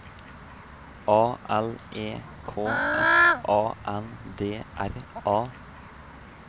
A L E K S A N D R A